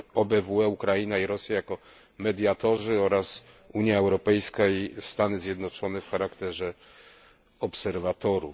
OBWE, Ukraina i Rosja jako mediatorzy oraz Unia Europejska i Stany Zjednoczone w charakterze obserwatorów.